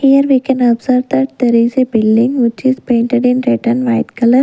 here we can observe that there is a building which is painted in red and white colour.